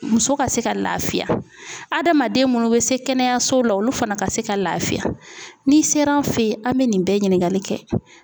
Muso ka se ka lafiya hadamaden munnu bɛ se kɛnɛyasow la olu fana ka se ka lafiya ni ser'an fe yen an be nin bɛɛ ɲiningali kɛ.